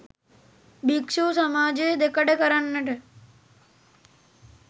භික්‍ෂු සමාජය දෙකඩ කරන්නට